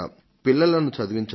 పిల్లలను చదివించడం